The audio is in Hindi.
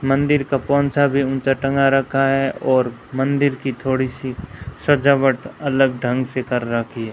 मंदिर का पोंछा भी ऊंचा टंगा रखा है और मंदिर की थोड़ी सी सजावट अलग ढंग से कर रखी --